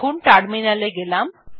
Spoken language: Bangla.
এখন টার্মিনাল এ গেলাম